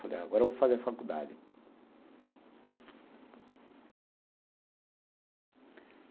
Falei, agora vou fazer faculdade.